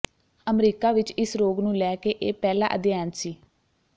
America ਵਿਚ ਇਸ ਰੋਗ ਨੂੰ ਲੈ ਕੇ ਇਹ ਪਹਿਲਾ ਅਧਿਐਨ ਸੀ